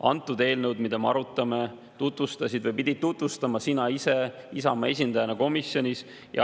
Antud eelnõu, mida me nüüd arutame, tutvustasid või pidid komisjonis tutvustama sina ise Isamaa esindajana.